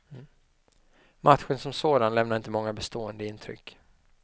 Matchen som sådan lämnar inte många bestående intryck.